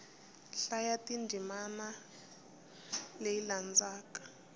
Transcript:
hlaya ndzimana leyi nga laha